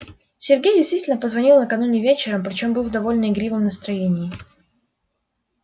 сергей действительно позвонил накануне вечером причём был в довольно игривом настроении